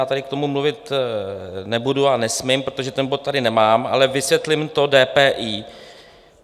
Já ale k tomu mluvit nebudu a nesmím, protože ten bod tady nemám, ale vysvětlím to DPI.